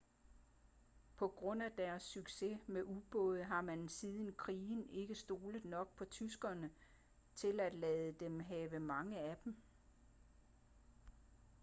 på grund af deres succes med ubåde har man siden krigen ikke stolet nok på tyskerne til at lade dem have mange af dem